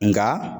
Nka